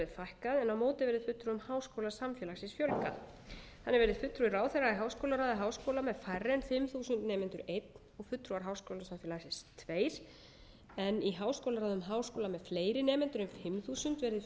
fækkað en á móti verði fulltrúum háskólasamfélagsins fjölgað þannig verði fulltrúi ráðherra í háskólaráði háskóla með færri en fimm þúsund nemendur einn og fulltrúar háskólasamfélagsins tveir en í háskólaráðum háskóla með fleiri nemendur en fimm þúsund verði fulltrúar ráðherra tveir en